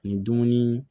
Ni dumuni